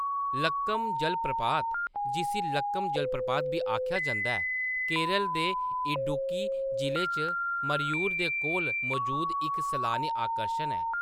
लक्कम जलप्रपात, जिसी लक्कम जलप्रपात बी आखेआ जंदा ऐ, केरल दे इडुक्की जिले च मरयूर दे कोल मजूद इक सैलानी आकर्शन ऐ।